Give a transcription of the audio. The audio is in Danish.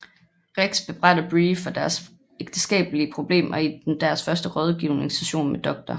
Rex bebrejder Bree for deres ægteskabelige problemer i deres første rådgivnings session med Dr